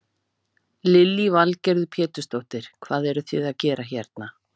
Lillý Valgerður Pétursdóttir: Hvað eruð þið að gera hérna?